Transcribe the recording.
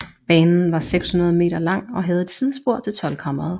Banen var 600 m lang og havde et sidespor til Toldkammeret